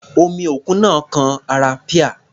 Omi òkun náà kan ara píà.